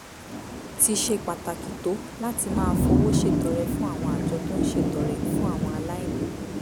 ti ṣe pàtàkì tó láti máa fowó ṣètọrẹ fún àwọn àjọ tó ń ṣètọrẹ fún àwọn aláìní